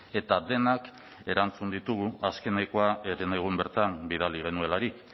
eta denak erantzun ditugu azkenekoa herenegun bertan bidali genuelarik